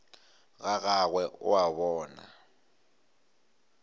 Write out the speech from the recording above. ga gagwe o a bona